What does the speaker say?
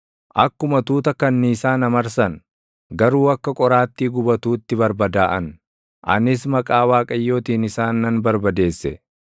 Akkuma tuuta kanniisaa na marsan; garuu akka qoraattii gubatuutti barbadaaʼan; anis maqaa Waaqayyootiin isaan nan barbadeesse.